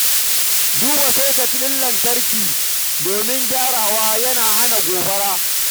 Duba soket ɗin lantarki domin gyaggyarawa yana rage haɗarin gobara.